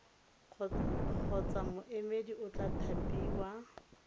kgotsa moemedi o tla thapiwa